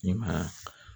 I ma ye